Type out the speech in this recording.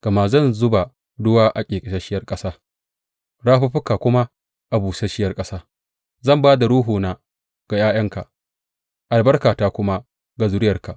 Gama zan zuba ruwa a ƙeƙasasshiyar ƙasa, rafuffuka kuma a busasshiyar ƙasa; zan ba da Ruhuna ga ’ya’yanka, albarkata kuma ga zuriyarka.